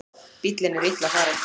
Bíllinn er illa farinn